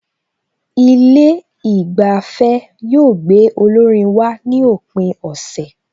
Ilé ìgbafẹ́ yóò gbé olórin wá ní òpin ọ̀sẹ̀